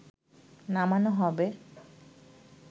নামানো হবে